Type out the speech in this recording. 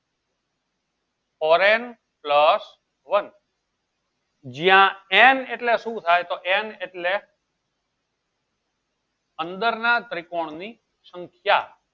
foreign plus one જ્યાં n એટલે શું થાય તો n એટલે અંદર ના ત્રિકોણ નું સંખ્યા